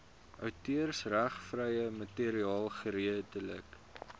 outeursregvrye materiaal geredelik